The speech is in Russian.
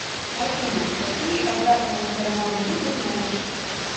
афина какие обратная сторона луны ты знаешь